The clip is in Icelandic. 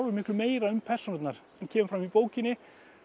miklu meira um persónurnar en kemur fram í bókinni